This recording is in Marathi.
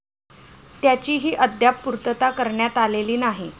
त्याचीही अद्याप पूर्तता करण्यात आलेली नाही.